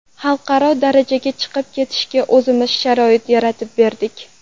Xalqaro darajaga chiqib ketishiga o‘zimiz sharoit yaratib berdik.